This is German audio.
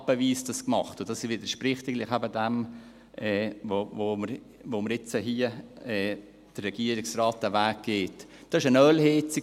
Ich machte das etappenweise, und das widerspricht ja eigentlich dem, was wir jetzt hier tun, beziehungsweise dem Weg, den der Regierungsrat geht.